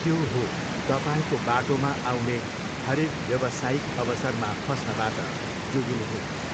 त्यो हो, तपाईँको बाटोमा आउने हरेक व्यवसायिक अवसरमा फस्नबाट जोगिनुहोस्।